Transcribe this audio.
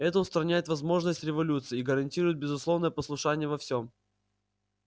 это устраняет возможность революций и гарантирует безусловное послушание во всем